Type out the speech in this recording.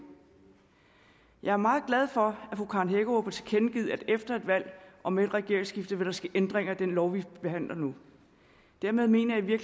jeg er meget glad for at fru karen hækkerup har tilkendegivet at efter et valg og med et regeringsskifte vil der ske ændringer i den lovgivning vi behandler nu dermed mener jeg